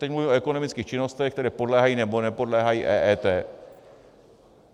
Teď mluvím o ekonomických činnostech, které podléhají nebo nepodléhají EET.